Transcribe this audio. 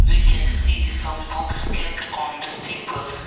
we can see some books kept on the tables.